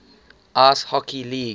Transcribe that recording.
ice hockey league